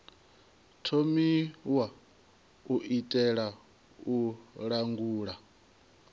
thomiwa u itela u langula